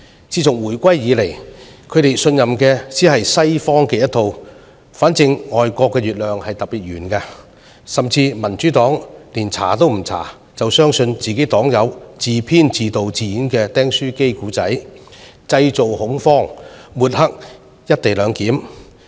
自從回歸以來，他們只信任西方的一套，總之外國的月亮特別圓，民主黨甚至不調查便相信黨友自編、自導、自演的"釘書機故事"，製造恐慌，抹黑"一地兩檢"。